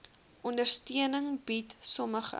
ondersteuning bied sommige